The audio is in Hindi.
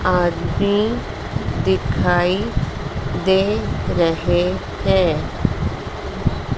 आदमी दिखाई दे रहे हैं।